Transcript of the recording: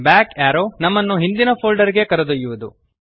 back arrow ನಮ್ಮನ್ನು ಹಿಂದಿನ folder ಗೆ ಕರೆದೊಯ್ಯುವದು